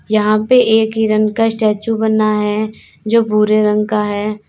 यहां पे एक हिरण का स्टेचू बना है जो भूरे रंग का है।